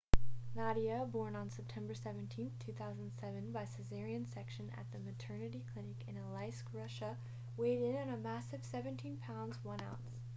nadia born on september 17 2007 by cesarean section at a maternity clinic in aleisk russia weighed in at a massive 17 pounds 1 ounce